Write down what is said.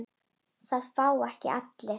Það fá ekki allir.